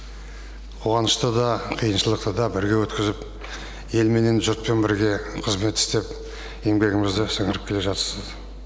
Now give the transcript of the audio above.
қуанышты да қиыншылықты да бірге өткізіп ел менен жұртпен бірге қызмет істеп еңбегімізді сіңіріп келе жатсыз